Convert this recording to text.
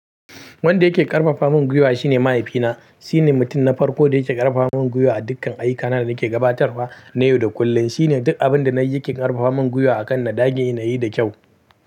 Wanda yake ƙarfafamin gwuiwa shine mahaifina. Shine mutum na farko da yake ƙarfafamin gwuiwa a dukkan ayyukana da nake gabatarwa na yau da kullum. Shine duk abin da na yi yake ƙarfafamin gwuiwa a kan na ɗage, na yi da kyau.